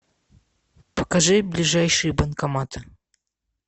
покажи ближайшие банкоматы